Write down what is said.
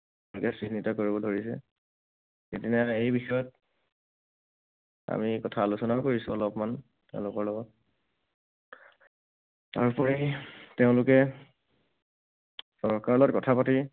চিহ্নিত কৰিব ধৰিছে। সিদিনা এই বিষয়ত আমি এই কথা আলোচনাও কৰিছো অলপমান তেওঁলোকৰ লগত। তাৰোপৰি তেওঁলোকে চৰকাৰৰ লগত কথা পাতি